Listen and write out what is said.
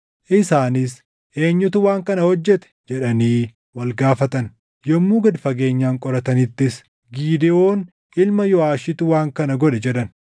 Isaanis, “Eenyutu waan kana hojjete?” jedhanii wal gaafatan. Yommuu gad fageenyaan qoratanittis, “Gidewoon ilma Yooʼaashitu waan kana godhe” jedhan.